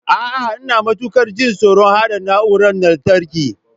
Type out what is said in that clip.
A'a, Ina matukar jin tsoron haɗa na'urorin lantarki.